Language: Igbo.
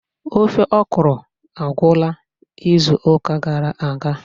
ofe okro agwụla izu ụka gara aga